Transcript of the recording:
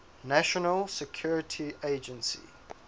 national security agency